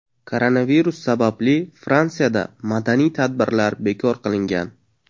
Koronavirus sababli Fransiyada madaniy tadbirlar bekor qilingan.